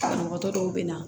Banabagatɔ dɔw bɛ na